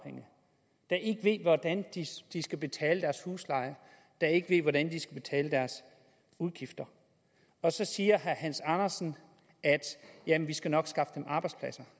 der ikke ved hvordan de skal betale deres husleje ikke ved hvordan de skal betale deres udgifter og så siger herre hans andersen jamen vi skal nok skaffe dem arbejdspladser